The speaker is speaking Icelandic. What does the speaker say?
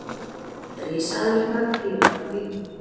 risaeðlurnar réðu þá ríkjum